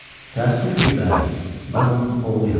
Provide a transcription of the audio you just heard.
Təəssüf ki, bəli, mən onun oğluyam.